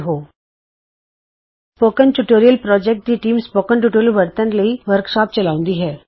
spoken tutorial project ਦੀ team spoken tutorial ਵਰਤਨ ਲਈ ਵਰਕਸ਼ਾਪ ਚਲਾਉਂਦੀ ਹੈ